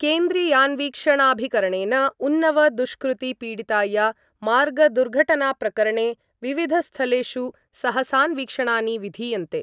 केन्द्रीयान्वीक्षणाभिकरणेन उन्नव दुष्कृति पीडिताया मार्गदुर्घटनाप्रकरणे विविधस्थलेषु सहसान्वीक्षणानि विधीयन्ते।